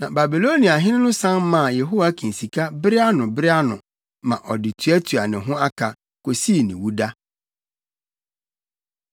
Na Babiloniahene no san maa Yehoiakin sika bere ano bere ano, ma ɔde tuatua ne ho aka, kosii ne wuda.